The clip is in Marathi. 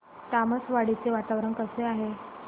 तामसवाडी चे वातावरण कसे आहे